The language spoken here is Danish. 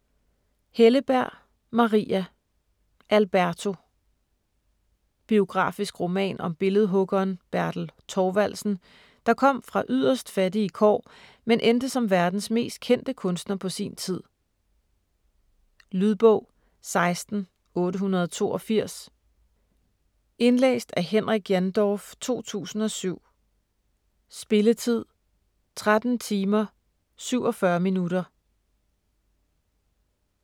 Helleberg, Maria: Alberto Biografisk roman om billedhuggeren Bertel Thorvaldsen, der kom fra yderst fattige kår, men endte som verdens mest kendte kunstner på sin tid. Lydbog 16882 Indlæst af Henrik Jandorf, 2007. Spilletid: 13 timer, 47 minutter.